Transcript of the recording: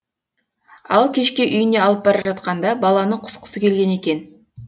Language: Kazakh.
ал кешке үйіне алып бара жатқанда баланың құсқысы келген екен